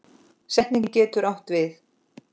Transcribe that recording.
Setning getur átt við